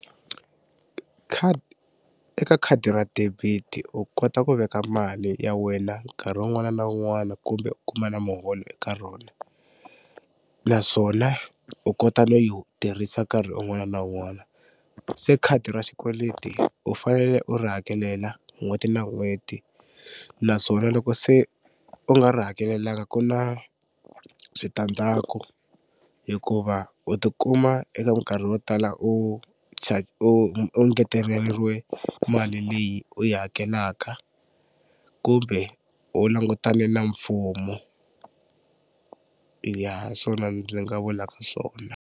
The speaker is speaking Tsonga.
eka khadi ra debit u kota ku veka mali ya wena nkarhi un'wana na un'wana kumbe u kuma na muholo eka rona naswona u kota no yi tirhisa nkarhi un'wana na un'wana. Se khadi ra xikweleti u fanele u ri hakelela n'hweti na n'hweti naswona loko se u nga ri hakelanga ku na switandzhaku hikuva u tikuma eka mikarhi yo tala u u u ngeteleriwe mali leyi u yi hakelaka kumbe u langutane na mfumo ya hi swona ndzi nga vulaka swona.